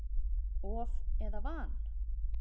Of eða van?